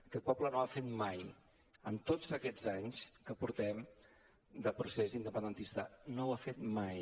aquest poble no ho ha fet mai en tots aquests anys que portem de procés independentista no ho ha fet mai